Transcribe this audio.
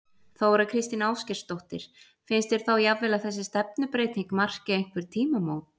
Þóra Kristín Ásgeirsdóttir: Finnst þér þá jafnvel að þessi stefnubreyting marki einhver tímamót?